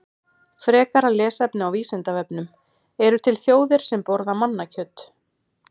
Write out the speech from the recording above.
Frekara lesefni á Vísindavefnum: Eru til þjóðir sem borða mannakjöt?